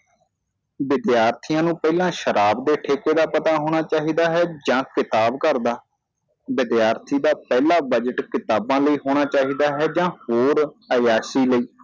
ਵਿਦਿਆਰਥੀਆਂ ਨੂੰ ਪਹਿਲਾਂ ਸ਼ਰਾਬ ਦੇ ਠੇਕੇ ਦਾ ਪਤਾ ਹੋਣਾ ਚਾਹੀਦਾ ਹੈ ਜਾਂ ਕਿਤਾਬ ਘਰ ਦਾ ਵਿਦਿਆਰਥੀ ਦਾ ਪਹਿਲਾ ਬਜਟ ਕਿਤਾਬਾਂ ਲਈ ਹੋਣਾ ਚਾਹੀਦਾ ਹੈ ਜਾਂ ਹੋਰ ਅਯਾਸ਼ੀ ਲਈ